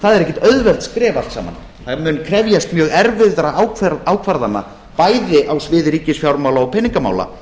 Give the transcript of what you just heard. það eru ekki auðveld skref allt saman það mun krefjast mjög erfiðra ákvarðana bæði á sviði ríkisfjármála og peningamála